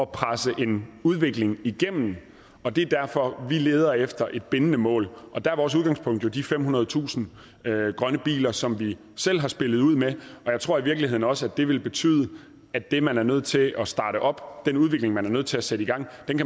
presse en udvikling igennem og det er derfor vi leder efter et bindende mål og der er vores udgangspunkt jo de femhundredetusind grønne biler som vi selv har spillet ud med jeg tror i virkeligheden også at det vil betyde at det man er nødt til at starte op altså den udvikling man er nødt til at sætte i gang